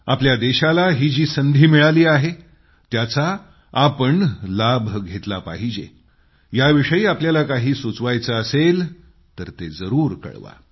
आपल्या देशाला ही जी संधी मिळाली आहे त्याचा आपण लाभ घेतला पाहिजे याविषयी तुम्हाला काही सुचवायचं असल्यास जरूर कळवा